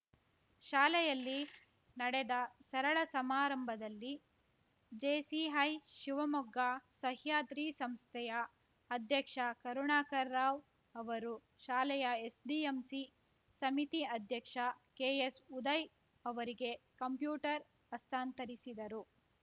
ಶಾಲೆಯಲ್ಲಿ ನಡೆದ ಸರಳ ಸಮಾರಂಭದಲ್ಲಿ ಜೆಸಿಐ ಶಿವಮೊಗ್ಗ ಸಹ್ಯಾದ್ರಿ ಸಂಸ್ಥೆಯ ಅಧ್ಯಕ್ಷ ಕರುಣಾಕರ್‌ರಾವ್‌ ಅವರು ಶಾಲೆಯ ಎಸ್‌ಡಿಎಂಸಿ ಸಮಿತಿ ಅಧ್ಯಕ್ಷ ಕೆಎಸ್‌ಉದಯ್‌ ಅವರಿಗೆ ಕಂಪ್ಯೂಟರ್ ಹಸ್ತಾಂತರಿಸಿದರು